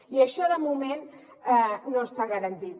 i això de moment no està garantit